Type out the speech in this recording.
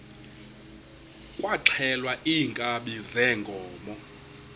kwaxhelwa iinkabi zeenkomo